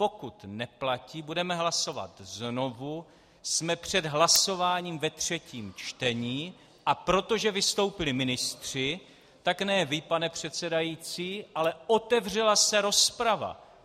Pokud neplatí, budeme hlasovat znovu, jsme před hlasováním ve třetím čtení, a protože vystoupili ministři, tak ne vy, pane předsedající, ale otevřela se rozprava.